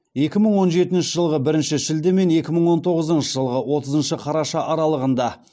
екі мың он жетінші жылғы бірінші шілде мен екі мың он тоғызыншы жылғы отызыншы қараша аралығында